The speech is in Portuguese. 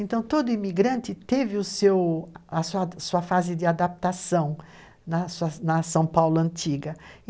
Então, todo imigrante teve o seu, a sua fase de adaptação na São Paulo antiga.